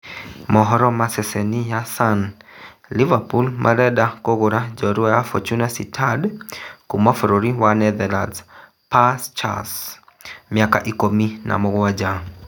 (Mohoro ma ceceni Sun) Liverpool marenda kũgũra njorua wa Fortuna Sittard Kuma bũrũri wa Netherlands Perr Schuurs miaka ikũmi na mũgwanja